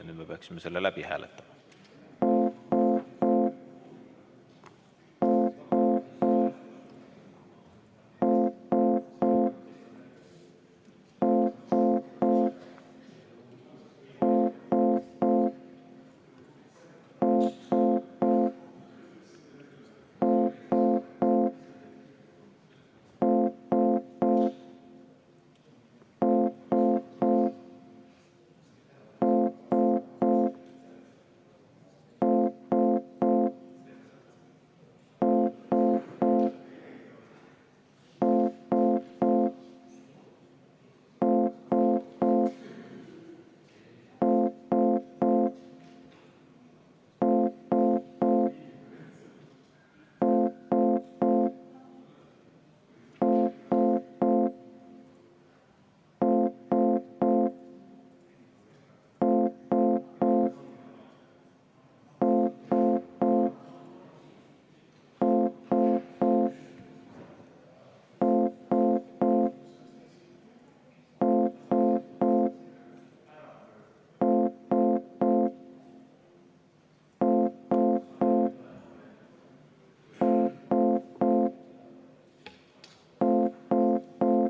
Nüüd me peaksime selle läbi hääletama.